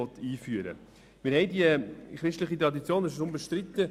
Wir haben eine christliche Tradition, das ist unbestritten.